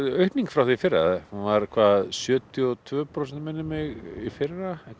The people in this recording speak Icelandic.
aukning frá því í fyrra þá var það sjötíu og tvö prósent minnir mig í fyrra